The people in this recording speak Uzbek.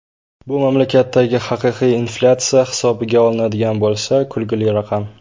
Bu mamlakatdagi haqiqiy inflyatsiya hisobga olinadigan bo‘lsa, kulgili raqam.